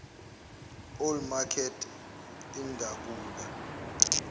old makert idabula